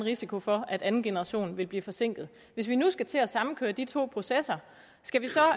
risiko for at anden generation vil blive forsinket hvis vi nu skal til at sammenkøre de to processer skal vi så